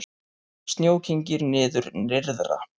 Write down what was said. Snjó kyngir niður nyrðra